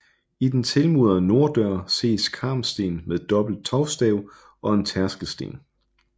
I den tilmurede norddør ses karmsten med dobbelt tovstav og en tærskelsten